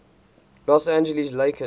los angeles lakers